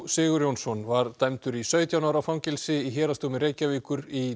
Sigurjónsson var dæmdur í sautján ára fangelsi í Héraðsdómi Reykjavíkur í